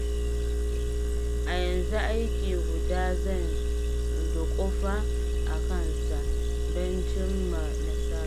A yanzu aiki guda zan duƙufa a kansa, don cimma nasara.